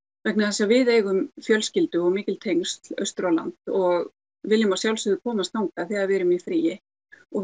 vegna þess að við eigum fjölskyldu og mikil tengsl austur á land og viljum að sjálfsögðu komast þangað þegar við erum í fríi og